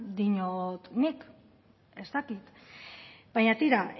diot nik ez dakit baina tira